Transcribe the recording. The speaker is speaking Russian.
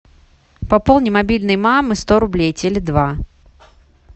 пополни мобильный мамы сто рублей теле два